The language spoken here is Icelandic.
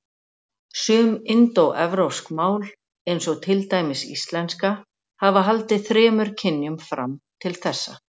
Sum indóevrópsk mál, eins og til dæmis íslenska, hafa haldið þremur kynjum fram til þessa.